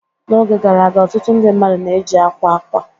N'oge gara aga, ọtụtụ ndị mmadụ na-eji akwa akwa